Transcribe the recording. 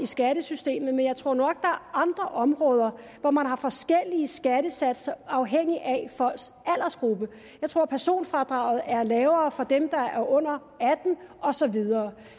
skattesystemet men jeg tror nok er andre områder hvor man har forskellige skattesatser afhængigt af folks aldersgruppe jeg tror personfradraget er lavere for dem der er under atten og så videre